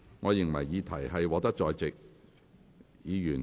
我宣布議案獲得通過。